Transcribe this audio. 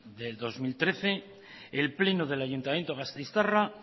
de dos mil trece el pleno del ayuntamiento gasteiztarra